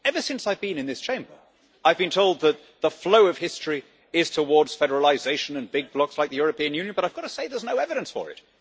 Ever since I've been in this Chamber, I've been told that the flow of history is towards federalisation and big blocs like the European Union, but I've got to say there's no evidence for it.